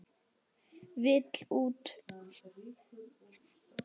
Vill út.